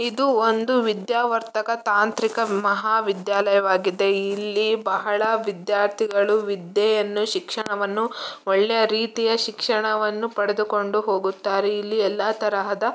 ಇದು ಒಂದು ವಿದ್ಯಾವರ್ಧಕ ತಾಂತ್ರಿಕ ಮಹಾವಿದ್ಯಾಲಯವಾಗಿದೆ. ಇಲ್ಲಿ ಬಹಳ ವಿದ್ಯಾರ್ಥಿಗಳು ವಿದ್ಯೆಯನ್ನು ಶಿಕ್ಷಣವನ್ನು ಒಳ್ಳೆಯ ರೀತಿಯ ಶಿಕ್ಷಣವನ್ನು ಪಡೆದುಕೊಂಡು ಹೋಗುತ್ತಾರೆ. ಇಲ್ಲಿ ಎಲ್ಲ ತರಹದ--